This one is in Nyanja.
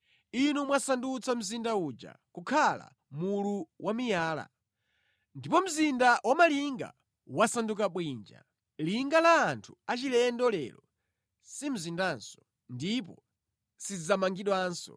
Inu mwasandutsa mzinda uja kukhala mulu wamiyala. Ndipo mzinda wamalinga wasanduka bwinja, linga la anthu achilendo lero si mzindanso ndipo sidzamangidwanso.